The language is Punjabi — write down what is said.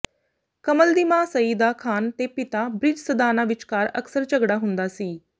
ਕਮਲ ਦੀ ਮਾਂ ਸਈਦਾ ਖ਼ਾਨ ਤੇ ਪਿਤਾ ਬ੍ਰਿਜ ਸਦਾਨਾ ਵਿਚਕਾਰ ਅਕਸਰ ਝਗੜਾ ਹੁੰਦਾ ਸੀ